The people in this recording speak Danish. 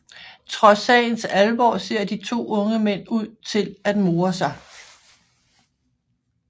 Trods sagens alvor ser de to unge mænd ud til at more sig